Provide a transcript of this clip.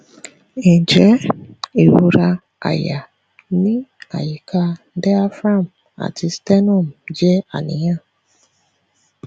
njẹ irora àyà ni ayika diaphragm ati sternum je àníyàn